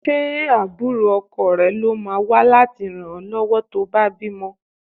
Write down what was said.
Ṣé àbúrò ọkọ rẹ ló máa wá láti ràn ọ lọ́wọ́ tó bá bímọ?